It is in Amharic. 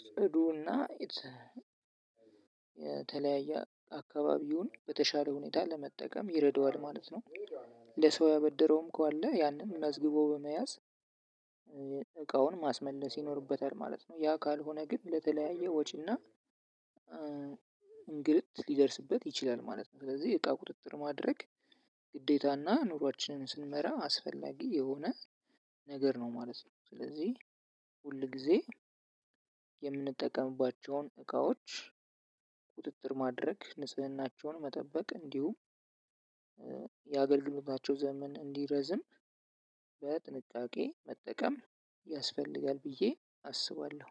ጽዱና የተ የተለያየ አካባቢውን በተሻለ ሁኔታ ለመጠቀም ይረዳዋል ማለት ነው። ለሰው ያበደረውም ካለ ያንን መዝግቦ በመያዝ እቃውን ማስመለስ ይኖርበታል ማለት ነው። ያ ካልሆነ ግን ለተለያየ ወጪና እንግልት ሊደርስበት ይችላል ማለት ነው። ስለዚህ እቃ ቁጥጥር ማድረግ ግዴታ እና ኑሯችንን ስንመራ አስፈላጊ የሆነ ነገር ነው ማለት ነው። ስለዚህ ሁል ጊዜ የምንጠቀምባቸውን እቃዎች ቁጥጥር ማድረግ ንጽህናቸውን መጠበቅ እንዲሁም የአገልግሎታቸው ዘመን እንዲረዝም በጥንቃቄ መጠቀም ያስፈልጋል። ብዬ አስባለሁ።